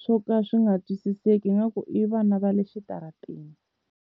swo ka swi nga twisiseki ingaku i vana va le xitarateni.